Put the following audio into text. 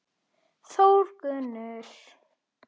Þórgunnur